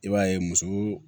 I b'a ye muso